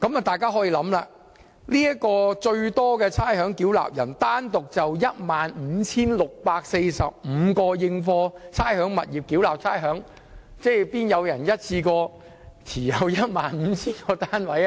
大家可以想象，這名差餉繳納人單獨就 15,645 個應課差餉物業繳納差餉，怎可能有個人一次過持有超過 15,000 個單位？